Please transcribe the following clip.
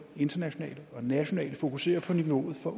internationalt og nationalt fokuserer på niveauet for